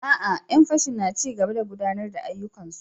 A'a! 'yan fashin na ci gaba da gudanar da ayyukansu.